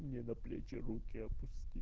мне на плечи руки опусти